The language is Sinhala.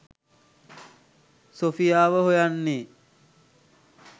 සොෆියාව හොයන්නේ.